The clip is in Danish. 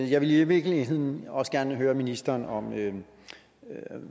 jeg ville i virkeligheden også gerne høre ministeren om